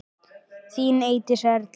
Þín Eydís Erla.